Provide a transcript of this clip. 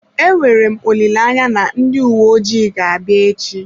Enwere m olileanya na ndị uwe ojii ga-abịa echi.